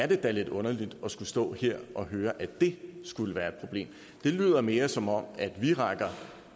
det da lidt underligt og skulle stå her og høre at det skulle være et problem det lyder mere som om vi rækker